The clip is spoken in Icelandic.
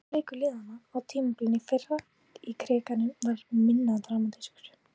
Seinni leikur liðanna á tímabilinu í fyrra í Krikanum var minna dramatískur.